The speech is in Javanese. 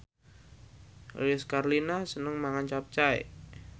Lilis Karlina seneng mangan capcay